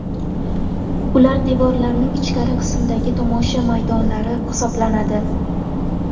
Ular devorlarning ichkari qismidagi tomosha maydonlari hisoblanadi.